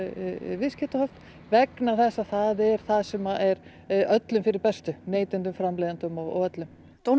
viðskiptahöft vegna þess að það er það sem er öllum fyrir bestu neytendum framleiðendum og öllum